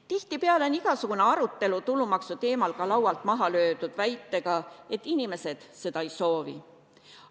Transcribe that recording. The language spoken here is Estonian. Tihitipeale on igasugune arutelu tulumaksu teemal ka laualt maha löödud väitega, et inimesed seda ei soovi.